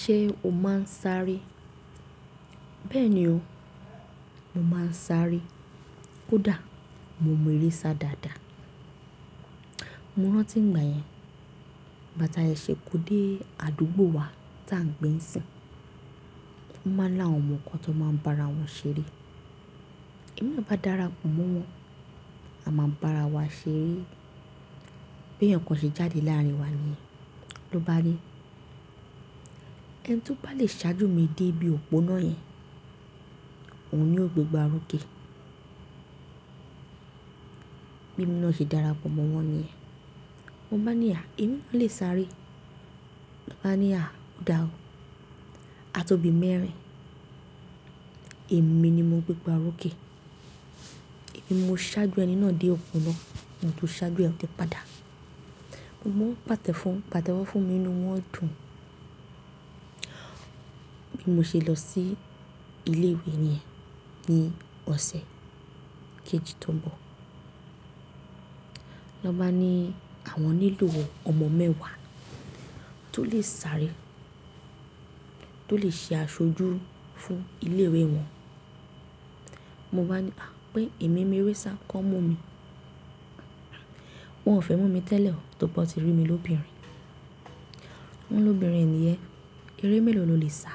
Ṣé o máa ń sáré? Bẹ́ẹ̀ni o, mo máa ń sáré. Kódà mo mọ eré sá dáadáa. Mo rántí ìgbà yẹn, ìgbà tí a yẹ ṣe kó dé àdúgbò wa tí à ń gbé n sìn. Wọ́n máa ń lá àwọn ọmọ kan tó máa ń bá ara wọn ṣeré. Ẹ̀mi n bá dára pọ̀ mọ́ wọn, a máa bá ara wa ṣeré. Bí ẹyan kan ṣe jáde láàrin wa ni yen lọ bá re. Ẹni tí ó bá le ṣáájú mi dé ibi òponá yẹn, òun ni o gbé gbá orókè. Bí emi náà ṣe dára pọ̀ mọ́ wọn ni ẹ́. Mo banií "à, ẹ̀mí náà le sáré." wọ́n bá ní "à, oda o." A tó bí mẹ́rin, èmi ni mo gbé gbá orókè. Èmi mo ṣáájú ẹni náà dé òponá, òun tún ṣáájú ẹ ni ó ti padà. Mo mọ́ pàtẹ́ fún, pàtẹ́wọ́ fún mi ni wọ́n dùn ún. Bí mo ṣe lọ sí ilé-ìwé ni yẹ́n ní ọ̀sẹ̀ kejì tó ń bọ̀. Wọ́n bá ni "àwọn nílò ọmọ mẹ́wàá tó lè sáré, tó lè ṣe aṣojú fún ilé-ìwé wọn." Mo báa ní "à, pé èmi mọ eré sá kan mu mi." Wọn ò fẹ́ mú mi tẹ́lẹ̀ o, tó rí pé wọ́n ti rí mi lóbìnrin. Wọ́n ní "lóbìnrin ni yẹn eré mélòó ló lè sá?"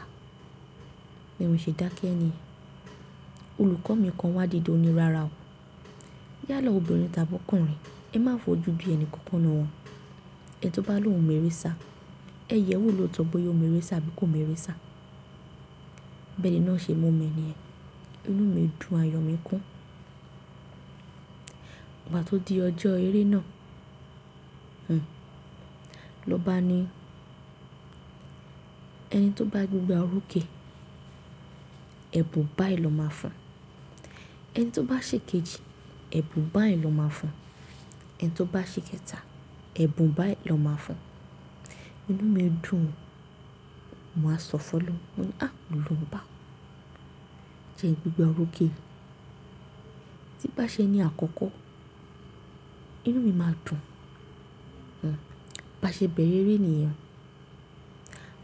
Bí mò ṣe dákẹ́ niyen. Olùkọ́ mi kan wá dìde ó ní "rárá o, yálà ọmọbìnrin tàbí ọkùnrin, ẹ má fojú ju di ẹni kankan nu won. Ẹni tó bá ló òun mọ̀ eré sá, ẹyẹ wo ló tọ bóyá ó mọ eré sá àbí kò mọ eré sá?" bẹ náà ṣe mọ́ mi ni yẹ́n. Inú mi dùn, ayọ̀ mi kún. Ìgbà tó di ọjọ́ eré náà, hmmm, lọ bá ni "ẹni tó bá gbé gbá orókè, ẹ̀bùn báyi lọ máa fún un. Ẹni tó bá ṣe kejì, ẹ̀bùn báyi lọ máa fún un. Ẹni tó bá ṣe kẹta, ẹ̀bùn báyi lọ máa fún un." Inú mi dùn ún, mowa sọ fún olohun. Mo ní "à, ìwọ olohun oba jẹ n gbé gbá orókè." Tí bá ṣe ní àkọ́kọ́, inú mi máa dùn ún. Bí a ṣe bẹ̀rẹ̀ eré nìyen,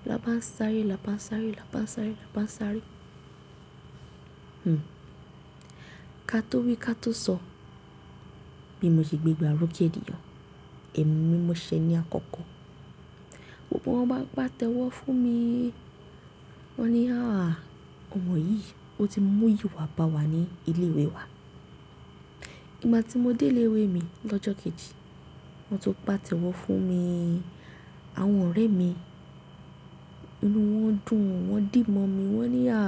"là bá ń sáré, là bá ń sáré, là bá ń sáré, là bá ń sáré." Hmm. Ka tó wí ka tó sọ, bí mo ṣe gbé gbá orókè nìyen o, èmi mi mo ṣe ní àkọ́kọ́. Gbogbo wọ́n bá pa tẹ́wọ́ fún mi. Wọ́n ni "à, ọmọ yìí, ó ti mú ìyi wa bà wá ní ilé-ìwé wa." Ìgbà tí mo dé ilé-ìwé mi lọ́jọ́ kejì, wọ́n tún patẹ́wọ́ fún mi. Àwọn ọ̀rẹ́ mi inú wọn dùn ún, wọ́n dì momi. Wọ́n ni "à,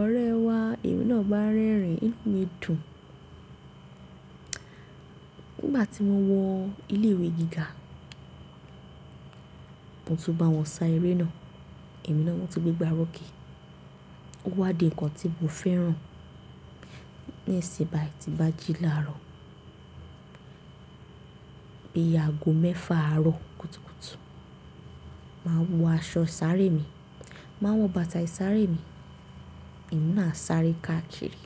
ọ̀rẹ́ ẹ wa, èmi náà bá rẹ́rìn-ín." Inú mi dùn ún. Nígbà tí mo wọ́ ilé-ìwé gíga, mo tún bá wọn sa eré náà. Èmi náà wọ́n ti gbé gbá orókè. Ó wá di ǹkan tí mo fẹ́ràn. Ní ìsìn báyìí ti bá jí láàárọ̀, bí i ago mẹ́fà àárọ̀ kùtùkùtù, màá wọ aṣọ sáré mi, màá wọ bàtà ìsáré mi, ẹ̀mí náà á sáré káàkiri.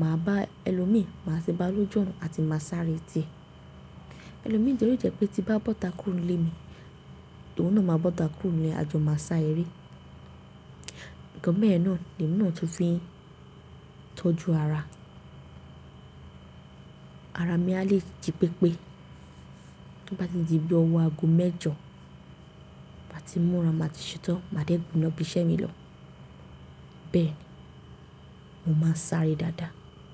Màá bá ẹlòmíi, màá ṣe bà lójú ọ̀nà àti màá sáré tì. Ẹlòmíi jẹ́ ó lè jẹ̀ pé tí bá bọ́ta kúrò nílé mi, lòun náà máa bọ́ta kúrò nílé ẹ àjọ̀ máa sá eré. Ǹkan beyen náà ni èmi náà tún fi ń tọ́jú ara. Ara mi a lè jí pépé. Tó bá ti di bí ọwọ́ ago mẹ́jọ, bá ti múra, màá ti ṣetán, màá dégun lọ bí iṣẹ́ mi lọ. Bẹ́ẹ̀ni, mo máa ń sáré dáadáa.